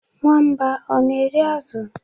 Nwamba ọ na-eri azụ?